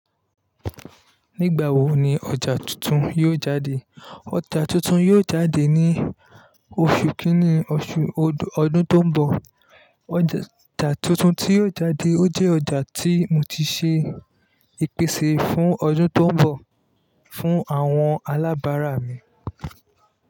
Nígbà wo ni ọjà tuntun yóò jáde? Ọjà tuntun yóò jáde ní oṣù kìíní oṣù ọdún tó ń bọ̀. Ọjà tuntun tí yóò jáde ó jẹ́ ọjà tí mo ti ṣe ìpèsè fún ọdún tó ń bọ̀ fún àwọn alábàárà mi.